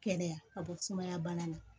Kɛnɛya ka bɔ sumaya bana na